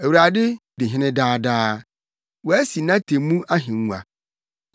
Awurade di hene daa daa; wasi nʼatemmu ahengua.